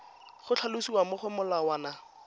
go tlhalosiwa mo go molawana